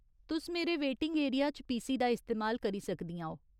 तुस मेरे waiting area च पीसी दा इस्तेमाल करी सकदियां ओ।